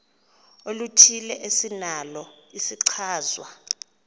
oluthile esinalo isichazwa